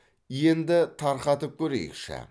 енді тарқатып көрейікші